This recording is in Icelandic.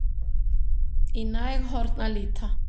Í næg horn að líta